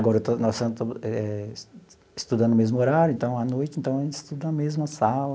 Agora eu estou, nós estamos eh estudando no mesmo horário, então, à noite, então, a gente estuda na mesma sala.